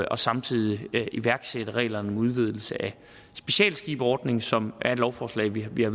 og samtidig iværksætte reglerne om udvidelse af specialskibsordningen som er et lovforslag vi har